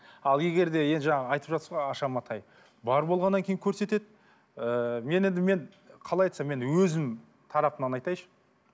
ал егер де енді жаңа айтып жатсыз ғой аша матай бар болғаннан кейін көрсетеді ыыы мен енді мен қалай айтсам мен өзім тарапымнан айтайыншы